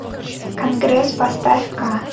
конгресс поставь ка